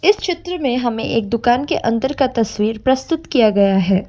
इस चित्र में हमें एक दुकान के अंदर का तस्वीर प्रस्तुत किया गया है।